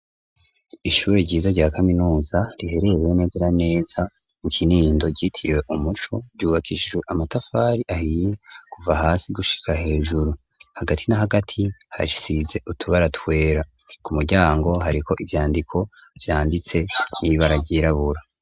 Kw'ishuri ryisumbuye ry'inyagasasa mu ntira yabururi rubakishae amatafari ahiye kuva hasi gushikahaijuru, kandi risanzwe risize amabara yira ku mpome ku madirisha y'ibiyo hariko ibara risa n'ubururu hasi hasise isima, kandi isa nagahama abanyeshuri barimw'ishuri barikobai ig.